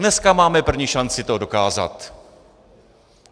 Dneska máme první šanci to dokázat.